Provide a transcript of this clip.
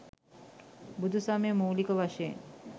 බුදුසමය මූලික වශයෙන්